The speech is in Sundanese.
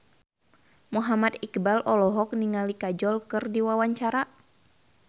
Muhammad Iqbal olohok ningali Kajol keur diwawancara